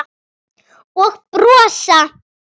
Og brosa.